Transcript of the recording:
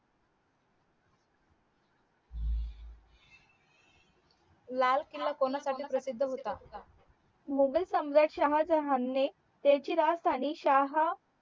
लाल किला कोणासाठी प्रसिद्ध होता मुघल सम्राट शहाजहान ने त्याचची राजधानी शाह